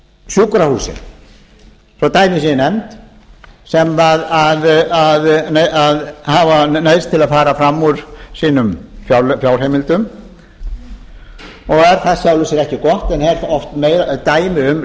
sjúkrahúsin svo að dæmi séu nefnd sem hafa neyðst til að fara fram úr sínum fjárheimildum og er það í sjálfu sér ekki gott en er oft dæmi um